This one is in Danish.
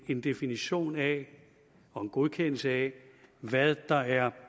en definition af og en godkendelse af hvad der er